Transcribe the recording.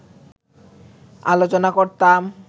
আলোচনা করতাম